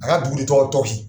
A ka dugu de tɔgɔ tɔsi.